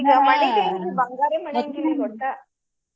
ಈಗ ಮನ್ಯೂದಿಲ್ರಿ ಬಂಗಾರೆ ಮನ್ಯಾಂಗಿಲ್ಲ ಈಗ ಒಟ್ಟ.